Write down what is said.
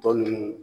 Tɔ ninnu